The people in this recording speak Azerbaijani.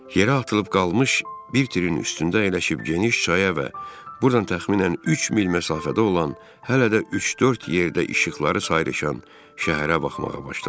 Yerə atılıb qalmış bir tirin üstündə əyləşib geniş çaya və burdan təxminən üç mil məsafədə olan hələ də üç-dörd yerdə işıqları sayrışan şəhərə baxmağa başladım.